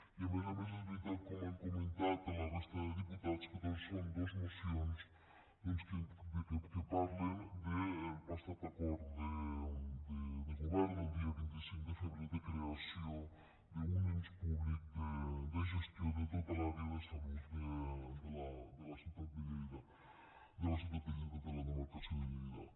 i a més a més és veritat com han comentat la resta de diputats que són dos mocions que parlen del passat acord de govern del dia vint cinc de febrer de creació d’un ens públic de gestió de tota l’àrea de salut de la ciutat de lleida de la demarcació de lleida